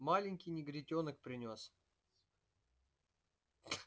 маленький негритёнок принёс